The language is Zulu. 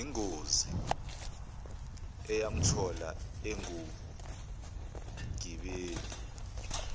yingozi eyamthola engumgibeli